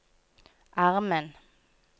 armen